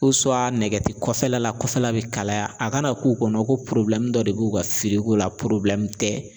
Ko nɛgɛti kɔfɛla la kɔfɛla bɛ kalaya a kana k'u kɔnɔ ko dɔ de b'u ka firiko la tɛ.